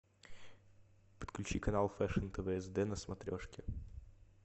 подключи канал фэшн тв сд на смотрешке